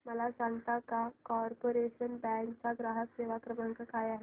मला सांगता का कॉर्पोरेशन बँक चा ग्राहक सेवा क्रमांक काय आहे